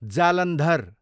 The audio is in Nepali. जालन्धर